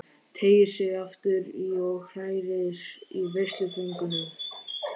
Teygir sig aftur í og hrærir í veisluföngunum.